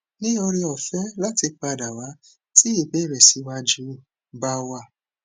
ni ore ofe lati padawa ti ibere si waju ba wa